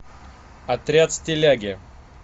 отряд стиляги